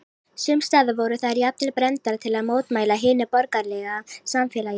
Sums staðar voru þær jafnvel brenndar til að mótmæla hinu borgaralega samfélagi.